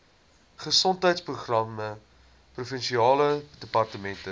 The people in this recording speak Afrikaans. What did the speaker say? gesondheidsprogramme provinsiale departement